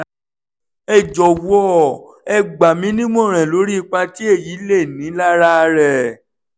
ẹ jọwọ ẹ gbà mí ní ìmọ̀ràn lórí ipa tí èyí lè ní lára rẹ̀